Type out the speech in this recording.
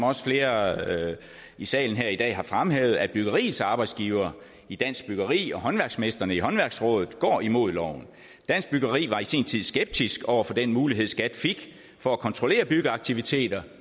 også flere i salen her i dag har fremhævet at byggeriets arbejdsgivere i dansk byggeri og håndværksmestrene i håndværksrådet går imod loven dansk byggeri var i sin tid skeptisk over for den mulighed skat fik for at kontrollere byggeaktiviteter